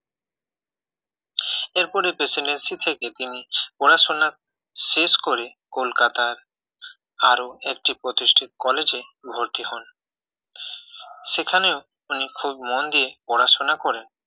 এরপরে প্রেসিডেন্সি থেকে তিনি পড়াশোনা শেষ করে কলকাতার আরো একটি প্রতিষ্ঠিত college এ ভর্তি হন সেখানেও উনি খুব মন দিয়ে পড়াশোনা করেন